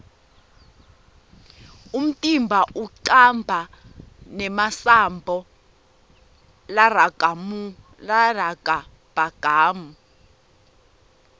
umtimba unqaba nemasambo largabamgu